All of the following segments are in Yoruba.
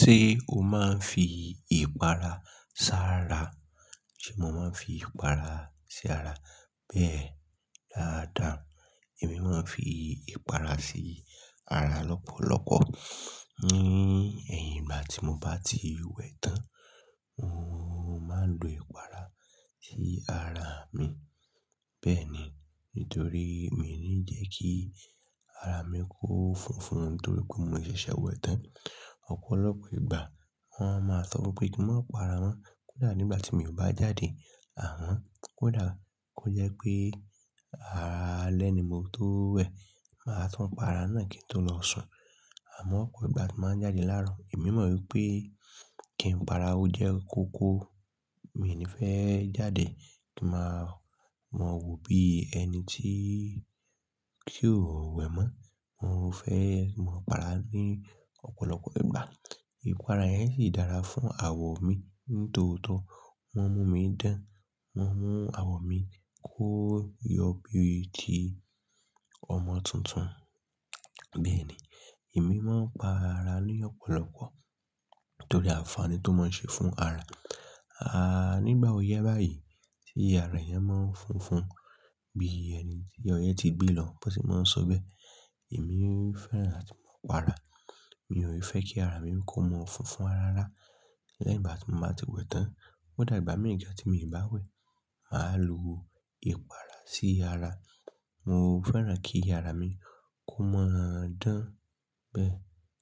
Ṣé o máa ń fi ìpara sá ara? Sé mo máa ń fi ìpara sí ara? Bẹ́ẹ̀ dáadáa. Èmi máa ń fi ìpara sí ara lọ́pọ̀lọpọ̀. Ni ẹ̀yìn ìgbà tí mo bá ti wẹ̀ tán, mo máa ń lo ìpara sí ara mi. Bẹ́ẹ̀ ni. Nítorí mi n ní jẹ́ kí ara mi kó fúnfún torí pé mo ṣẹ̀ṣẹ̀ wẹ̀ tán. Ọ̀pọ̀lọpọ̀ ìgbà wọ́n máa sọ wípé kí n má para mọ. Kódà nígbà tí mi o bá jáde, àmọ kódà kó jẹ́ pé alẹ́ ni mo tó wẹ̀, màá tun para náà kí n tó lọ sùn. Àmọ́ ọ̀pọ̀ ìgbà tí bá jáde láàárọ̀, èmi mọ̀ wípé kí n para ó jẹ́ koko. Mi n ní fẹ́ jáde kí màá mọ wò bí ẹni tí tí ó wẹ̀ mọ́. Mo fẹ́ mo pa ara ní ọ̀pọ̀lọpọ̀ ìgbà. Ìpara yẹn sì dára fún àwọ̀ mi. Nítòótọ́ wọn mú mi dán. Wọ́n mú àwọ̀ mi kó yọ bí i ti ọmọ tuntun. Bẹ́ẹ̀ ni. Èmi máa ń pa ara ní ọ̀pọ̀lọpọ̀ torí àǹfààní tó máa ń ṣe fún ara. Nígbà ó ya báyìí tí ara eeyan máa ń fúnfún bí ẹni tí ọyẹ́ ti gbé lọ bon se máa ń sọ bẹ́ẹ̀. Èmi fẹ́ràn láti máa pa ara. Mi ò i fẹ́ kí ara mi kó mọ́ fúnfún rarárá lẹ́yìn ìgbà tí mo bá ti wẹ̀ tán. Kódà ìgbà mii gan ti mi bá wẹ̀, màá lo ìpara sí ara. Mo fẹ́ràn kí ara mi kó mọ́ dán. Bẹ́ẹ̀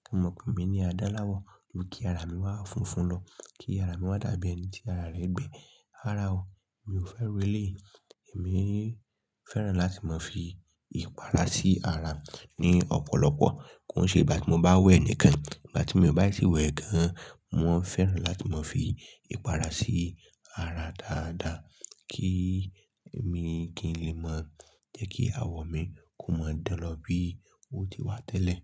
kí wọ́n mọ̀ pé mi ní adán láwọ̀. Ju ki ara mi wá fúnfún lọ. Kí ara mi wá dàbí ẹni tí ara rẹ gbẹ. Rara o, mi ò fẹ́ irú elèyi. Èmi fẹ́ràn láti máa fi ìpara sí ara ní ọ̀pọ̀lọpọ̀. Kó n ṣe ìgbà tí mo bá wẹ̀ nìkan. Ìgbà tí mi o bá tì wẹ̀ gan, mo maa fẹ́ràn láti máa fi ìpara sí ara dáadáa kí èmi kí n lè máa jẹ́ kí àwọ̀ mi kó máa dán lọ bí i ó ti wà tẹ́lẹ̀.